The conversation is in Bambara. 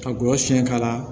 Ka gɔlɔsi k'a la